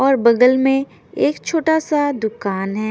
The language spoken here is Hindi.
और बगल मे एक छोटा सा दुकान है।